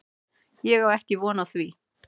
Ég á ekki von á því